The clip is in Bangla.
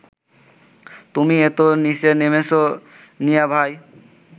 তুমি এত নিচে নেমেছ মিয়াভাই